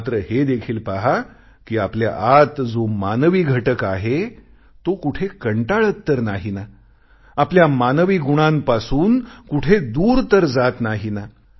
मात्र हे देखील पहा कि आपल्या आत जो मानवी घटक आहे तो कुठे कंटाळत तर नाही ना आपण मानवी गुणांपासून कुठे दूर तर जात नाही ना